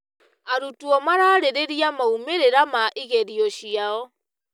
Arutwo mararĩrĩria maũmĩrĩra ma igerio ciao.